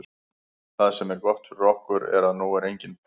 Það sem er gott fyrir okkur er að nú er engin pressa.